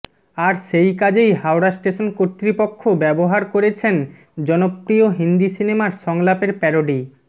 আর সেই কাজেই হাওড়া স্টেশন কর্তৃপক্ষ ব্যবহার করেছেন জনপ্রিয় হিন্দি সিনেমার সংলাপের প্যারডি